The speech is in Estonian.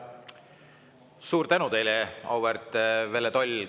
Suur tänu teile, auväärt Velle Toll!